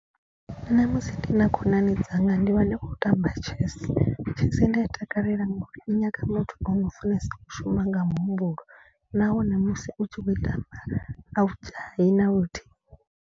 Nṋe musi ndi na khonani dzanga ndi vha ndi khou tamba chess. Chess nda i takalela ngori i nyaga muthu ono funesa u shuma nga muhumbulo. Nahone musi u tshi kho i tamba a u dzhai na luthihi.